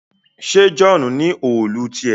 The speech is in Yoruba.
ṣe John ní Òòlù tiẹ